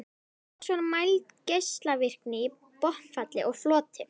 Loks var mæld geislavirkni í botnfalli og floti.